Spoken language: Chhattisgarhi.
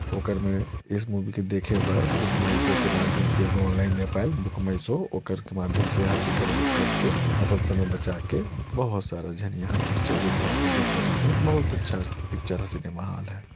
ओकर में इस मूबी के देखे बर बुक मई सौ के माध्यम से एगो ऑनलाइन ऐप अएल बुक मई सौ ओकर के माध्यम से यहाँ टिकट बुक कर के पन समय बचा के बहुत सारा झन यहाँ पिक्चर एक साथ में देख सकत है बहुत अच्छा पिक्चारा सिनेमा हॉल है।